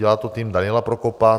Dělá to tým Daniela Prokopa.